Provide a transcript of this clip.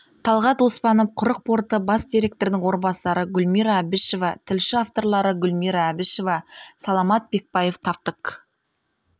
талғат оспанов құрық порты бас директорының орынбасары гүлмира әбішева тілші авторлары гүлмира әбішева саламат бекбаев таптык